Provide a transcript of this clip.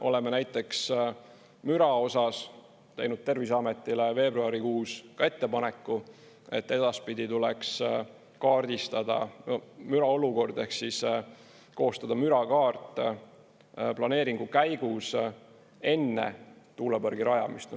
Oleme näiteks müra osas teinud Terviseametile veebruarikuus ka ettepaneku, et edaspidi tuleks kaardistada müraolukord ehk koostada mürakaart planeeringu käigus enne tuulepargi rajamist.